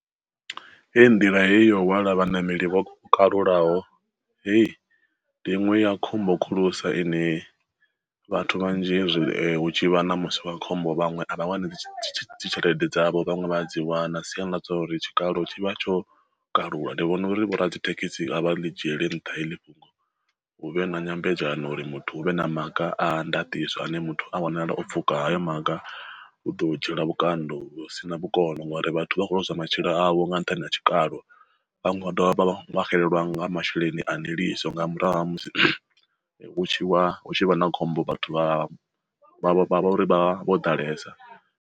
Hei nḓila heyo wala vhaṋameli vho kalulaho, heyi ndi inwe ya khombo khulusa ine vhathu vhanzhi hezwi hu tshi vha na musi wa khombo vhaṅwe a vha wani dzi tshelede dzavho vhaṅwe vha a dzi wana na siani ḽa zwauri tshikalo tshivha tsho kalula. Ndi vhona uri vho radzithekhisi avha ḽi dzhiele nṱha heḽi fhungo, hu vhe na nyambedzano uri muthu hu vhe na maga a ndatiso ane muthu a wanala o pfuka hayo maga hu ḓo dzhielwa vhukando vhu si na vhukono ngori vhathu vha khou lozwa matshilo avho nga nṱhani ha tshikalo vha dovha vha xelelwa nga masheleni a ndiliso nga murahu ha musi vhatshi wa hu tshi vha na khombo vhathu vha vha uri vho ḓalesa.